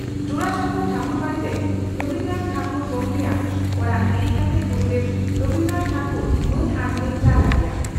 ᱡᱚᱨᱟ ᱥᱟᱠᱷᱚ ᱴᱷᱟᱹᱠᱩᱨᱵᱟᱰᱤ ᱨᱮ ᱨᱚᱵᱤᱱᱫᱽᱨᱚ ᱱᱟᱛᱷ ᱴᱮᱜᱚᱨ ᱜᱚᱢᱠᱮᱭᱟᱜ ᱚᱲᱟᱜ ᱦᱤᱨᱤ ᱠᱟᱛᱮ ᱜᱩᱨᱩᱫᱮᱵᱽ ᱨᱚᱵᱤᱱᱫᱨᱚ ᱴᱷᱟᱹᱠᱩᱨ ᱢᱟᱹᱱ ᱟᱸᱡᱞᱮᱭ ᱪᱟᱞ ᱟᱫᱮᱭᱟ ᱾